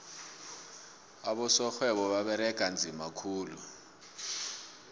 abosorhwebo baberega nzima khulu